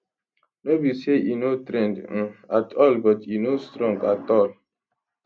no be say e no trend um at all but e no strong at all